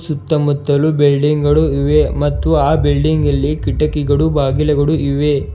ಸುತ್ತಮುತ್ತಲು ಬಿಲ್ಡಿಂಗ್ ಗಳು ಇವೆ ಮತ್ತು ಆ ಬಿಲ್ಡಿಂಗ್ ಅಲ್ಲಿ ಕಿಟಕಿಗಳು ಬಾಗಿಲುಗಳು ಇವೆ.